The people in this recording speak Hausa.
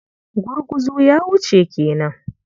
Gurguzu ya wuce ke nan?